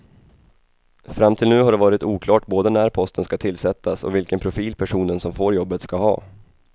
Fram till nu har det varit oklart både när posten ska tillsättas och vilken profil personen som får jobbet ska ha.